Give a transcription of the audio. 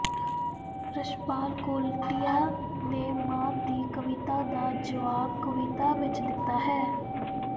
ਰਛਪਾਲ ਕੋਲਟੀਆ ਨੇ ਮਾਨ ਦੀ ਕਵਿਤਾ ਦਾ ਜਵਾਬ ਕਵਿਤਾ ਵਿਚ ਹੀ ਦਿੱਤਾ ਹੈ